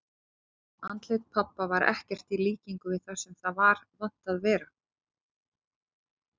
Andlit pabba var ekkert í líkingu við það sem það var vant að vera.